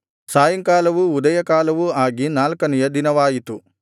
ಸಾಯಂಕಾಲವೂ ಉದಯಕಾಲವೂ ಆಗಿ ನಾಲ್ಕನೆಯ ದಿನವಾಯಿತು